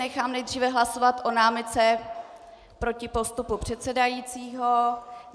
Nechám nejdříve hlasovat o námitce proti postupu předsedajícího.